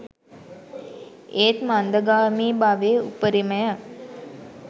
ඒත් මන්දගාමී බවේ උපරිමය